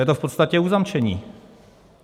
Je to v podstatě uzamčení.